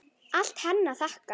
Allt henni að þakka.